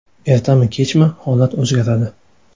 Ertami, kechmi, holat o‘zgaradi.